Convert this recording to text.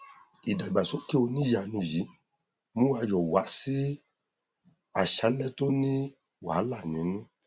ìdàgbàsókè oníyàlẹnu yìí mú ayọ wá sí àṣálẹ tó ní wàhálà nínú